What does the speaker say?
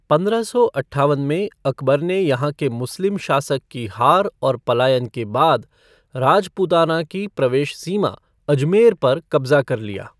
पंद्रह सौ अट्ठावन में, अकबर ने यहाँ के मुस्लिम शासक की हार और पलायन के बाद राजपूताना की प्रवेश सीमा अजमेर पर कब्जा कर लिया।